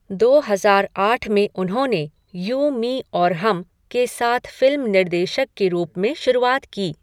दो हजार आठ में उन्होंने 'यू मी और हम' के साथ फिल्म निर्देशक के रूप में शुरुआत की।